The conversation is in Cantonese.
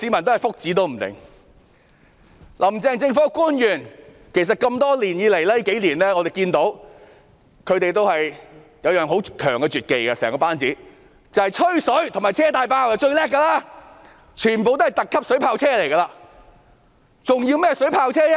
我們看到"林鄭"政府班子多年來都有一種很強的絕技——最厲害是"吹水"和"車大炮"，全部都是"特級水炮車"，還需要甚麼水炮車呢？